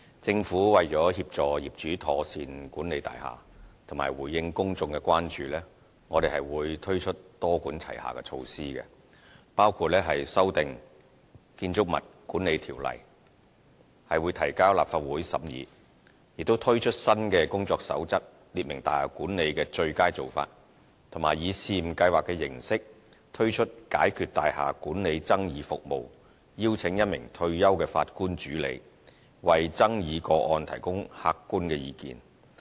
政府為協助業主妥善管理大廈及回應公眾的關注，我們會推出多管齊下的措施，包括修訂《建築物管理條例》提交立法會審議；推出新的《工作守則》列明大廈管理的"最佳做法"，以及以試驗計劃形式，推出"解決大廈管理爭議服務"，邀請1名退休法官主理，為爭議個案提供客觀意見。